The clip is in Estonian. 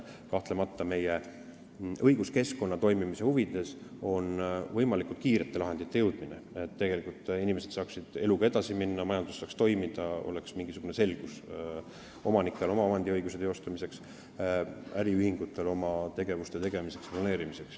Kahtlemata on meie õiguskeskkonna toimimise huvides võimalikult kiiresti lahendini jõudmine, et inimesed saaksid eluga edasi minna, majandus saaks toimida, omanikel oleks mingisugune selgus oma omandiõiguse teostamiseks ja äriühingutel oma tegevuse planeerimiseks.